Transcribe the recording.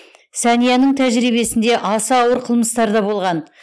сәнияның тәжірибесінде аса ауыр қылмыстар да болған